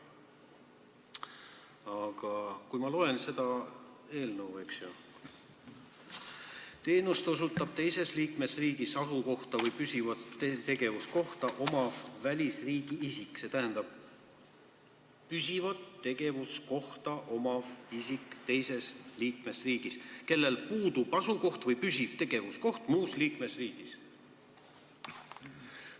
Aga ma loen eelnõust: "teenust osutab teises liikmesriigis asukohta või püsivat tegevuskohta omav välisriigi isik ...... kellel puudub asukoht või püsiv tegevuskoht muus liikmesriigis.